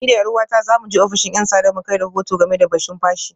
Ni da ’yar’uwata za mu je ofishin ‘yan sanda mu kai rahoto game da batun fashi